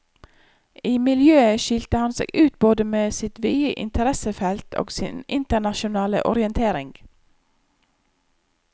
I miljøet skilte han seg ut både med sitt vide interessefelt og sin internasjonale orientering.